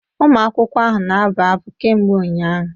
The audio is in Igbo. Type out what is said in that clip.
ụmụ akwụkwọ ahụ na-abụ abụ kemgbe ụnyahụ